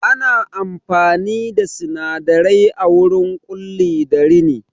Ana amfani da sinadarai a wurin Ƙulli da rini